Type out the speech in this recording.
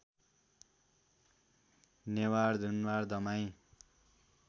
Newar Danuwar Damai